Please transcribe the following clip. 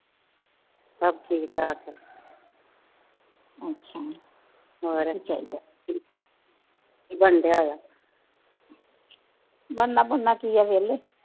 ਬਣਨਾ ਬੁਣਨਾ ਕੀ ਆ ਵੇਹਲੇ